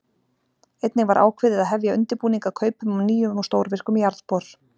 Einnig var ákveðið að hefja undirbúning að kaupum á nýjum og stórvirkum jarðbor.